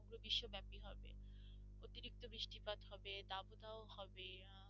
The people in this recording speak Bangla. বৃষ্টিপাত হবে দাবদাহ হবে